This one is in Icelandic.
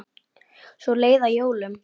Svo leið að jólum.